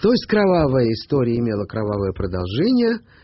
то есть кровавая история имела кровавое продолжение